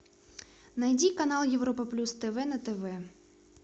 найди канал европа плюс тв на тв